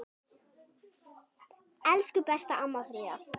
Elsku besta amma Fríða.